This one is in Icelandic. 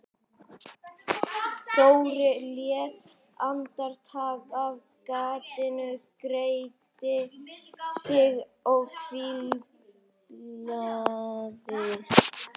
Dóri leit andartak af gatinu, gretti sig og hvíslaði